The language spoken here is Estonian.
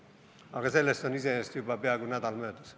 Aga sellest on iseenesest juba peaaegu nädal möödas.